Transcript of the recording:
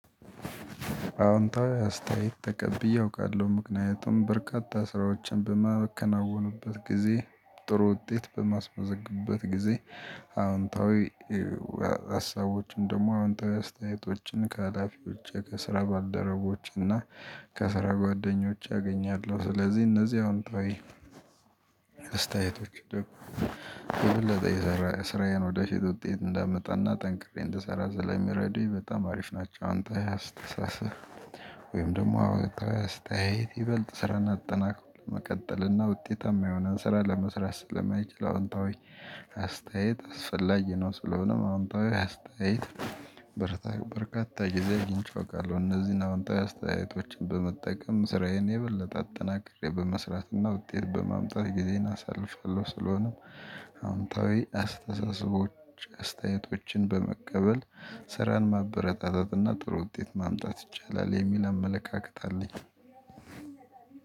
አዎንታዊ አስተያየት ተቀብዬ አውቃለሁ። ምክንያቱም በርካታ ስራዎችን በማከናወኑበት ጊዜ፣ ጥሩ ውጤት በማስመዘግበት ጊዜ አዎንታዊ ሀሳቦችን ደግሞ አወንታዊ አስተያየቶችን ከሀላፊዎቸ፣ ከስራ ባልደረቦች እና ከስራ ጓደኞቸ አገኛለሁ። ስለዚህ እነዚህ አወንታዊ ሀሳቦችን ደግሞ አወንታዊ አስተያየቶችን ከሀላፊዎቸ፣ ከስራ ባልደረቦቸ እና ከስራ ጓደኞቸ አገኛለሁ። ስለዚህ እነዚህ አዎንታዊ ታይ ወይም ደግሞ አወንታዊ አስተያየት ይበልጥ ስራን አጠናክሮ ለመቀጠል እና ውጤታማ የሆነ ስራ ለመስራት ስለማይችል አዎንታዊ አስተያየት አስፈላጊ ነው። ስለሆነም አዎንታዊ አስተያየት በርካታ ጊዜ አግኝቼ አውቃለሁ። እነዚህን አዎንታዊ አስተያየቶችን በመጠቀም ስራዬን የበለጠ አጠናክሬ በመስራትና ውጤት በማምጣት ጊዜን አሳልፋለሁ። ስለሆነም አወንታዊ አስተሳሰቦች አስተያየቶችን በመቀበል ስራን ማበረታታት እና ጥሩ ውጤት ማምጣት ይቻላል የሚል አመለካከት አለኝ።